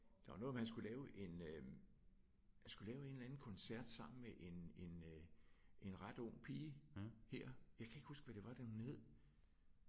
Der var noget med at han skulle lave en øh han skulle lave en eller anden koncert sammen med en en øh en ret ung pige her. Jeg kan ikke huske hvad det var det hun hed